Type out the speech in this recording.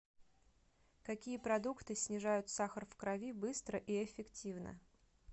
какие продукты снижают сахар в крови быстро и эффективно